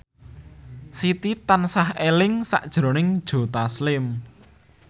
Siti tansah eling sakjroning Joe Taslim